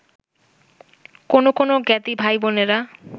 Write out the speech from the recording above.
কোনো কোনো জ্ঞাতি ভাইবোনেরা